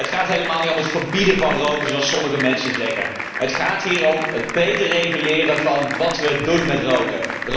Het gaat helemaal niet om het verbieden van roken, zoals sommige mensen zeggen. Het gaat hier om het béter reguleren van wat we doen met roken.